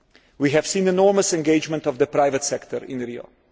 We have seen enormous engagement by the private sector in Rio.